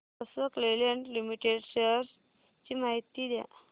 Ashok Leyland limited shares ची माहिती द्या